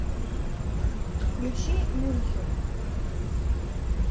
включи мюнхен